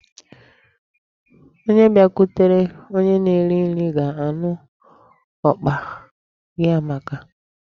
Onye bịakwutere onye na-eri nri ga-anụ ọkpa gị amaka.